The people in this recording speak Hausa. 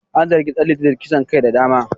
An zargi Dan liti da kisan kai da dama